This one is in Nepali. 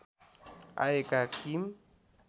आएका किम